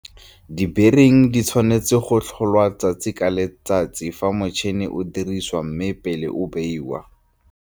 Dibering di tshwanetse go tlholwa ka letsatsi le letsatsi fa motšhene o dirisiwa mme le pele o beiwa.